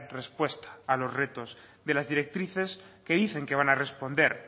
respuesta a los retos de las directrices que dicen que van a responder